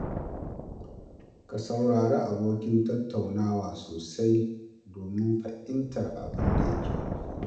Ka saurari abokin tattaunawa sosai domin fahimtar abin da yake nufi.